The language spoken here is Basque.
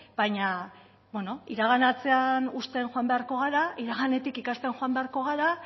baina beno iraganatzean uzten joan beharko gara iraganetik ikasten joan beharko gara